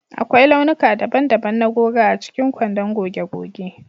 Akwai launuka daban-daban na goga a cikin kwandon goge goge